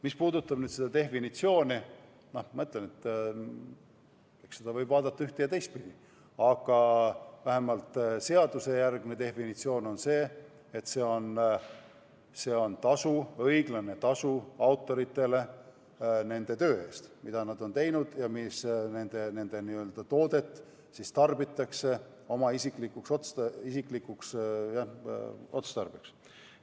Mis puudutab nüüd seda definitsiooni, siis ma ütlen, et eks seda võib vaadata ühte- ja teistpidi, aga vähemalt seadusejärgne definitsioon on selline, et see on õiglane tasu autoritele nende töö eest, mida nad on teinud, ja nende n-ö toodet siis tarbitakse oma isiklikuks otstarbeks.